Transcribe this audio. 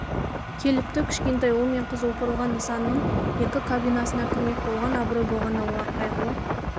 келіпті кішкентай ұл мен қыз опырылған нысанның екі кабинасына кірмек болған абырой болғанда олар қайғылы